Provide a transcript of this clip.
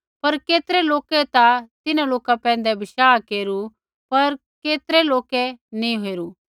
पर केतरै लोकै ता तिन्हां लोका पैंधै बशाह केरू पर केतरै लोकै नी केरू